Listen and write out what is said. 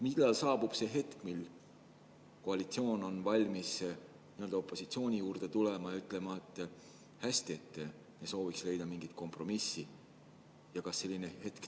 Millal saabub hetk, mil koalitsioon on valmis opositsiooni juurde tulema ja ütlema, et hästi, me sooviksime leida mingit kompromissi?